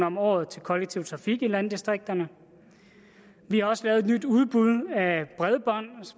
om året til kollektiv trafik i landdistrikterne vi har også lavet et nyt udbud af bredbånd